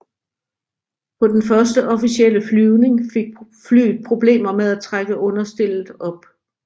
På den første officielle flyvning fik flyet problemer med at trække understellet op